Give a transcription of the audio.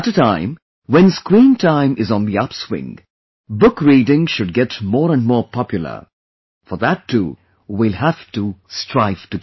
At a time when the screen time is on the upswing, Book Reading should get more and more popular; for that too, we will have to strive together